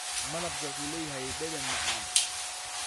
Malabka wuxuu leeyahay dhadhan macaan.